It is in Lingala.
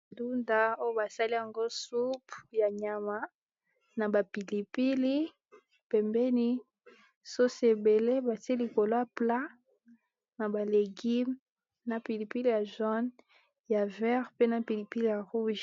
Ndunda basali soupe ya nyama na pilipili pembeni sauce ebele batye likolo ya plat na ba légume na pilipili ya jaune ya vert pe pilipili ya rouge.